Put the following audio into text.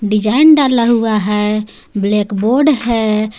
Design डाला हुआ है ब्लैक बोर्ड है।